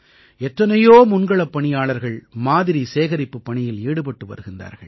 எத்தனையோ முன்களப் பணியாளர்கள் மாதிரி சேகரிப்புப் பணியில் ஈடுபட்டு வருகின்றார்கள்